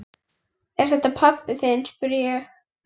Er þetta pabbi þinn? spurði ég.